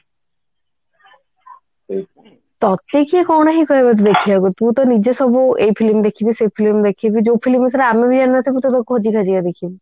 ତତେ କିଏ କଣ ହିଁ କହିବ ତୁ ଦେଖିବା କୁ ତୁ ତ ନିଜେ ସବୁ ଏଇ film ଦେଖିବୁ ସେଇ film ଦେଖିବୁ ଯୋଉ film ବିଷୟରେ ଆମେ ବି ଜାଣି ନଥିବୁ ତୁ ତାକୁ ଖୋଜି ଖାଜିକା ଦେଖିବୁ